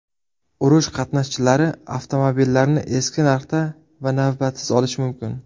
Urush qatnashchilari avtomobillarni eski narxda va navbatsiz olishi mumkin.